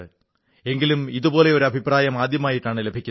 എങ്കിലും ഇതുപോലെ ഒരു അഭിപ്രായം ആദ്യമായിട്ടാണ് ലഭിക്കുന്നത്